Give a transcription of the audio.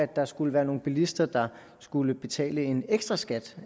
der skulle være nogle bilister der skulle betale en ekstraskat